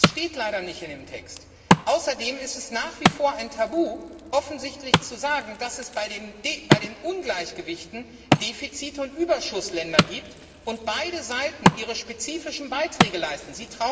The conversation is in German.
Das steht leider nicht in dem Text. Außerdem ist es offensichtlich nach wie vor ein Tabu zu sagen, dass es bei den Ungleichgewichten Defizit und Überschussländer gibt, und beide Seiten ihre spezifischen Beiträge leisten.